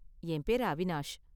என் பேரு அவினாஷ்.